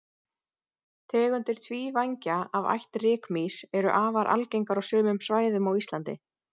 tegundir tvívængja af ætt rykmýs eru afar algengar á sumum svæðum á íslandi